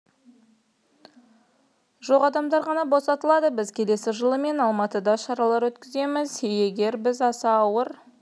жоқ адамдар ғана босатылады біз келесі жылы мен алматыда шаралар өткіземіз егер біз аса ауыр